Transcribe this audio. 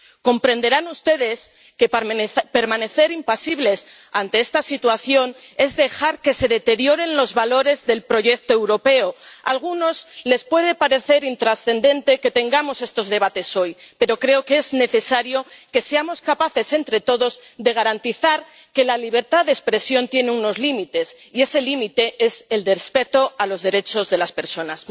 Comprenderán ustedes que permanecer impasibles ante esta situación es dejar que se deterioren los valores del proyecto europeo. A algunos les puede parecer intrascendente que tengamos estos debates hoy, pero creo que es necesario que seamos capaces entre todos de garantizar que la libertad de expresión tiene unos límites y ese límite es el del respeto a los derechos de las personas.